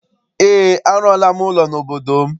Eé, arụọla m ụlọ n'obodo m.